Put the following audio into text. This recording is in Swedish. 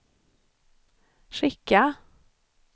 skicka